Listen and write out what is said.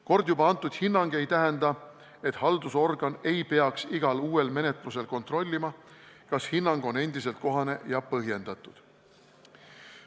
Kord juba antud hinnang ei tähenda, et haldusorgan ei peaks igal uuel menetlusel kontrollima, kas hinnang on endiselt kohane ja põhjendatud.